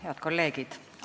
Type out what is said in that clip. Head kolleegid!